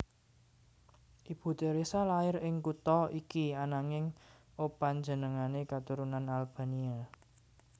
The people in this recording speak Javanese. Ibu Theresa lair ing kutha iki ananging opanjenengané katurunan Albania